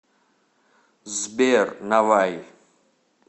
сбер наваи